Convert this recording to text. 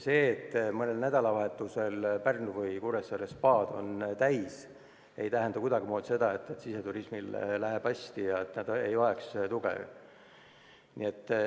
See, et mõnel nädalavahetusel on Pärnu või Kuressaare spaad rahvast täis, ei tähenda kuidagimoodi seda, et siseturismil läheb hästi ja ta ei vaja tuge.